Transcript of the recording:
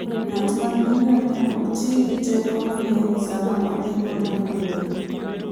Ng'at ma nigi ngamia ok ti gi teko mang'eny sama odhi kuonde maboyo.